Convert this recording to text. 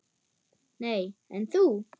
Nei, en þú?